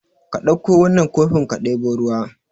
Ka dauko wannan kofin ka debo ruwa